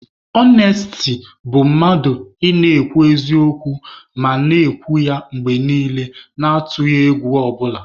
Ọnesti bụ mmadụ ị na-akwụ n'eziokwu ma na-ekwu ya mgbe niile na-atụghị egwu ọ bụla.